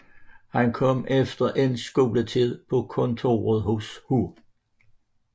Han kom efter endt skoletid på kontoret hos H